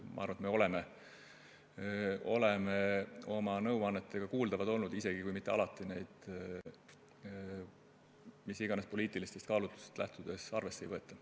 Ma arvan, et me oleme oma nõuannetega kuuldavad olnud, isegi kui neid alati mis iganes poliitilistest kaalutlustest lähtudes arvesse ei võeta.